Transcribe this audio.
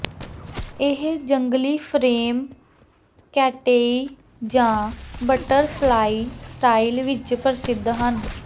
ਇਹ ਜੰਗਲੀ frame cat eye ਜਾਂ ਬਟਰਫਲਾਈ ਸਟਾਈਲ ਵਿਚ ਪ੍ਰਸਿੱਧ ਹਨ